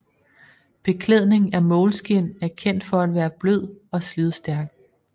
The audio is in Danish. Beklædning af moleskin er kendt for at være blød og slidstærk